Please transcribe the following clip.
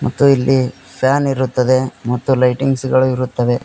ಮತ್ತು ಇಲ್ಲಿ ಫ್ಯಾನ್ ಇರುತ್ತದೆ ಮತ್ತು ಲೈಟಿಂಗ್ಸ್ ಗಳು ಇರುತ್ತವೆ.